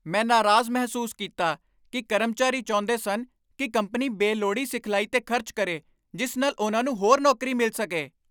ਮੈਂ ਨਾਰਾਜ਼ ਮਹਿਸੂਸ ਕੀਤਾ ਕਿ ਕਰਮਚਾਰੀ ਚਾਹੁੰਦੇ ਸਨ ਕਿ ਕੰਪਨੀ ਬੇਲੋੜੀ ਸਿਖਲਾਈ 'ਤੇ ਖਰਚ ਕਰੇ ਜਿਸ ਨਾਲ ਉਨ੍ਹਾਂ ਨੂੰ ਹੋਰ ਨੌਕਰੀ ਮਿਲ ਸਕੇ।